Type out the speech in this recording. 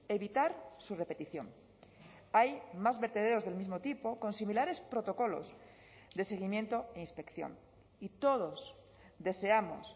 evitar su repetición hay más vertederos del mismo tipo con similares protocolos de seguimiento e inspección y todos deseamos